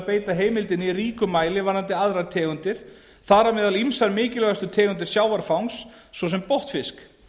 beita heimildinni í ríkum mæli varðandi aðrar tegundir þar á meðal ýmsar mikilvægustu tegundir sjávarfangs svo sem botnfisk